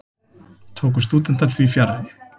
Tóku stúdentar því fjarri.